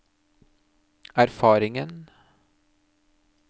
erfaringen